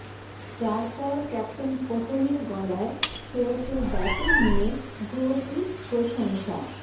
যার পর ক্যাপ্টেন কোহলির গলায় শ্রেয়সের ব্যাটিং নিয়ে ভূয়সী প্রশংসা